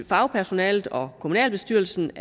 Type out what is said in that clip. fagpersonalet og kommunalbestyrelsen